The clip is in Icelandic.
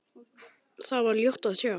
Þar var ljótt að sjá.